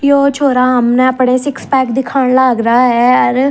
यो छोरा हमने अपणे सिक्स पेग दिखाण लाग रा ह अर--